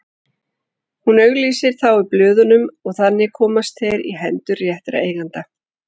Hún auglýsir þá í blöðunum og þannig komast þeir í hendur réttra eigenda.